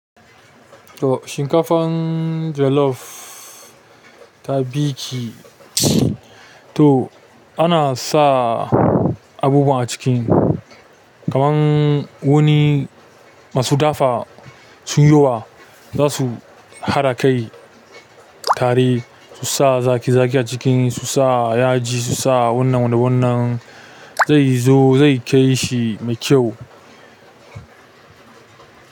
To shinkafan jollof ta bi ki. To ana sa abubuwa a ciki kaman wurin masu dafa sun yi wa za su haɗa kai tare su sa zaƙi zaƙi a ciki su sa yaji su sa wannan da wannan zai zo zai kai shi mai kyau.